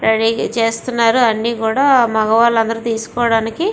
ready గా చేస్తున్నారు మగవారు అందరూ కూడా తీసుకోవడానికి --